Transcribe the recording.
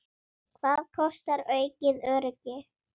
Hvað kostar aukið öryggi?